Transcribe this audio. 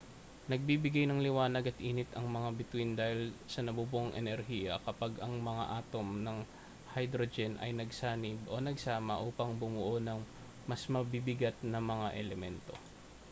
nagbibigay ng liwanag at init ang mga bituin dahil sa nabubuong enerhiya kapag ang mga atom ng hydrogen ay nagsanib o nagsama upang bumuo ng mas mabibigat na mga elemento